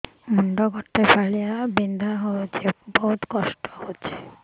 ମୁଣ୍ଡ ଗୋଟେ ଫାଳିଆ ବିନ୍ଧୁଚି ବହୁତ କଷ୍ଟ ହଉଚି